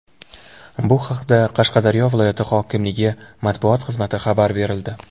Bu haqda Qashqadaryo viloyat hokimligi matbuoti xizmati xabar berildi .